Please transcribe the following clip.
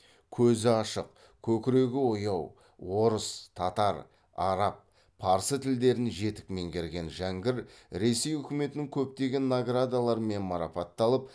көзі ашық көкірегі ояу орыс татар араб парсы тілдерін жетік меңгерген жәңгір ресей үкіметінің көптеген наградаларымен марапатталып